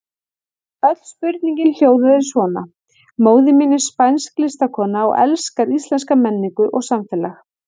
Öll spurningin hljóðaði svona: Móðir mín er spænsk listakona og elskar íslenska menningu og samfélag.